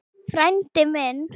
Frændi minn